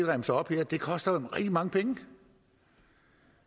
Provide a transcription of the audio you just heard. remser op her koster jo rigtig mange penge